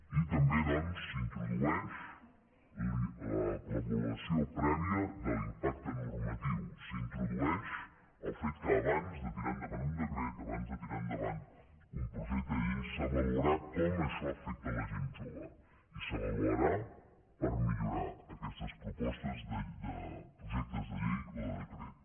i també doncs s’introdueix l’avaluació prèvia de l’impacte normatiu s’introdueix el fet que abans de tirar endavant un decret abans de tirar endavant un projecte de llei s’avaluarà com això afecta la gent jove i s’avaluarà per millorar aquestes propostes de projecte de llei o de decret